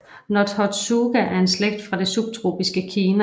Nothotsuga er en slægt fra det subtropiske Kina